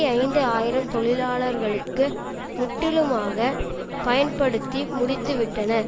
ஐந்து ஆயிரம் தொழிலாளர்களுக்கு முற்றிலுமாக பயன்படுத்தி முடித்துவிட்டனர்